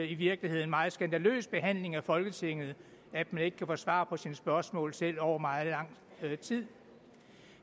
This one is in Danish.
i virkeligheden en meget skandaløs behandling af folketinget at man ikke kan få svar på sine spørgsmål selv over meget lang tid